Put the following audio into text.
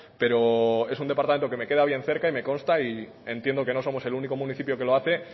pero es un departamento que queda bien cerca y me consta y entiendo que no somos el único municipio que lo hace